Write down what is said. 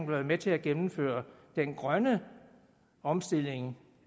være med til at gennemføre den grønne omstilling